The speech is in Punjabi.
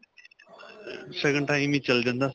ਸ਼ਗੁਨ time ਹੀ ਚਲ ਜਾਂਦਾ.